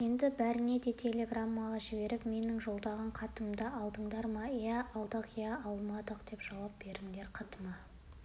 енді бәріне де телеграмма жіберіп менің жолдаған хаттарымды алдыңдар ма иә алдық иә алмадық деп жауап беріңдер хатыма